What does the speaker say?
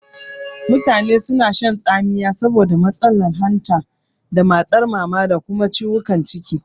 Mutane suna shan tsamiya saboda matsalar hanta da matsarmama da kuma ciwukan ciki.